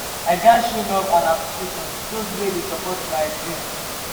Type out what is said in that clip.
i gats show love and appreciation to those wey dey support my dreams.